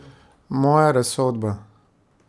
Moja razsodba?